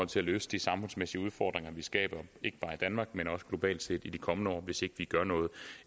til at løse de samfundsmæssige udfordringer vi skaber ikke bare i danmark men også globalt set i de kommende år hvis ikke vi gør noget